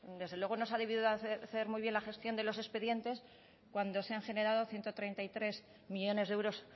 desde luego no se ha debido de hacer muy bien la gestión de los expedientes cuando se han generado ciento treinta y tres millónes de euros